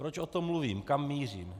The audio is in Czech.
Proč o tom mluvím, kam mířím?